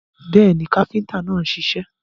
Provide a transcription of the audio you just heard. Bẹ́ẹ̀ni, káfíntà náà ń ṣiṣẹ́.